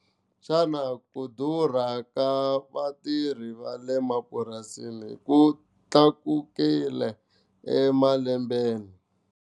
Xana ku durha ka vatirhi va le mapurasini ku tlakukile emalembeni.